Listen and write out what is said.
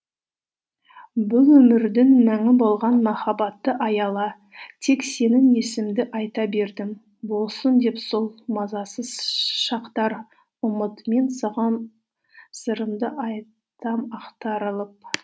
бұл өмірдің мәні болған махаббатты аяла тек сенің есіміңді аи та бердім болсын деп сол мазасыз шақтар ұмыт мен саған сырымды айтам ақтарылып